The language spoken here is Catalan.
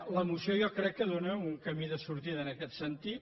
la moció jo crec que dóna un camí de sortida en aquest sentit